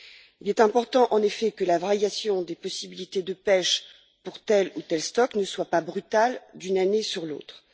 Il est important, en effet, que la variation des possibilités de pêche pour tel ou tel stock ne soit pas brutale d'une année sur l'autre.